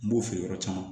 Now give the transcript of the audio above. N b'o feere yɔrɔ caman